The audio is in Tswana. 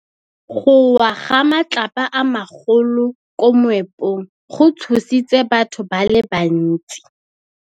Go wa ga matlapa a magolo ko moepong go tshositse batho ba le bantsi.